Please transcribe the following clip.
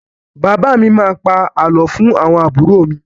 Bàbá mi má a pa àlọ́ fún àwọn àbúrò mi.